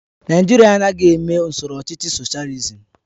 Naijiria anaghị eme usoro ọchịchị soshializim